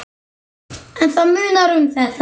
En það munar um þetta.